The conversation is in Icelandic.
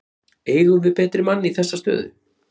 Eigum við betri mann í þessa stöðu?